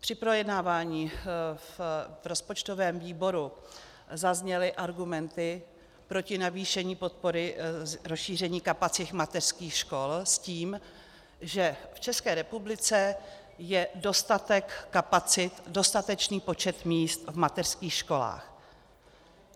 Při projednávání v rozpočtovém výboru zazněly argumenty proti navýšení podpory rozšíření kapacity mateřských škol s tím, že v České republice je dostatek kapacit, dostatečný počet míst v mateřských školách.